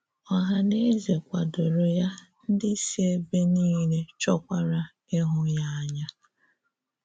Ọ̀hà nà èzè kwàdòrò ya, ndị sì èbè niile chọ́kwara íhụ́ ya ànyá.